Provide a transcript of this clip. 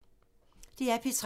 DR P3